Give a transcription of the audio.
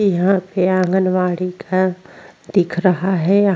इहा पे आंगनबाड़ी का दिख रहा हैं।